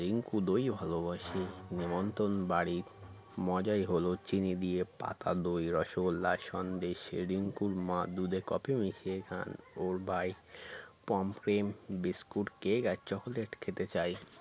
রিঙ্কু দই ভালোবাসে নেমন্তন বাড়ির মজাই হল চিনি দিয়ে পাতা দই রসগোল্লা সন্দেশ রিঙ্কুর মা দুধে কফি মিশিয়ে খান ওর ভাই পমফ্রেম বিস্কুট কেক আর চকলেট খেতে চায়